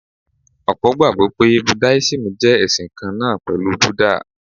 Ọ̀pọ̀ gbàgbọ́ pé Buddhism jẹ́ ẹ̀sìn kan náà pẹ̀lú Buddha.